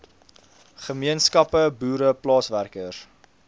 gemeenskappe boere plaaswerkers